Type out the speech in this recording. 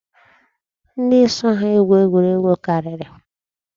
Ndị so ha egwu egwu karịrị.